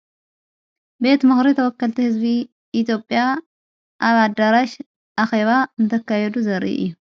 ቤት ምኽሪ ተወከልቲ ሕዝቢ ኢትዮጵያ ኣብ ኣዳራሽ ኣኼባ እንተካየዱ ዘርኢ እዩ።